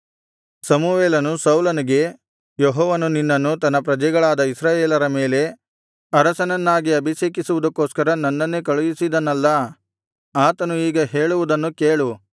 ಸಮುವೇಲನು ಸೌಲನಿಗೆ ಯೆಹೋವನು ನಿನ್ನನ್ನು ತನ್ನ ಪ್ರಜೆಗಳಾದ ಇಸ್ರಾಯೇಲರ ಮೇಲೆ ಅರಸನನ್ನಾಗಿ ಅಭಿಷೇಕಿಸುವುದಕ್ಕೋಸ್ಕರ ನನ್ನನ್ನೇ ಕಳುಹಿಸಿದನಲ್ಲಾ ಆತನು ಈಗ ಹೇಳುವುದನ್ನು ಕೇಳು